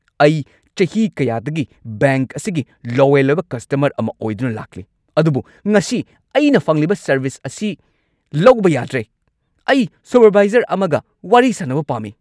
ꯑꯩ ꯆꯍꯤ ꯀꯌꯥꯗꯒꯤ ꯕꯦꯡꯛ ꯑꯁꯤꯒꯤ ꯂꯣꯌꯦꯜ ꯑꯣꯏꯕ ꯀꯁꯇꯃꯔ ꯑꯃ ꯑꯣꯏꯗꯨꯅ ꯂꯥꯛꯂꯤ, ꯑꯗꯨꯕꯨ ꯉꯁꯤ ꯑꯩꯅ ꯐꯪꯂꯤꯕ ꯁꯔꯕꯤꯁ ꯑꯁꯤ ꯂꯧꯕ ꯌꯥꯗ꯭ꯔꯦ꯫ ꯑꯩ ꯁꯨꯄꯔꯚꯥꯏꯖꯔ ꯑꯃꯒ ꯋꯥꯔꯤ ꯁꯥꯟꯅꯕ ꯄꯥꯝꯃꯤ!